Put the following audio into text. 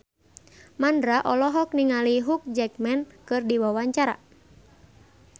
Mandra olohok ningali Hugh Jackman keur diwawancara